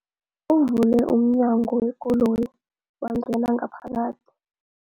Uvule umnyango wekoloyi wangena ngaphakathi.